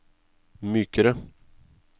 mykere